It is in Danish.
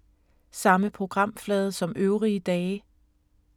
Samme programflade som øvrige dage